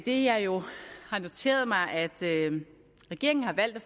idet jeg jo har noteret mig at regeringen har valgt at